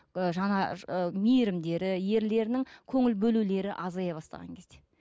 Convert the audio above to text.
ы жаңа мейірімдері ерлерінің көңіл бөлулері азая бастаған кезде